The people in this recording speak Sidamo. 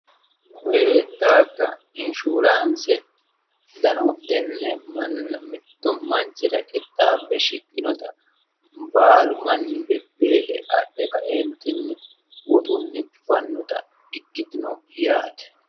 koye daafira anshuraanse manchi beettira qixxaabbe shiqqinota baalu manni bebbeehe adhe kaeentinni woxunni fannota ikkitanno yaate.